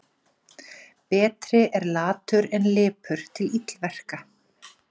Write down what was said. Betri er latur en lipur til illverka.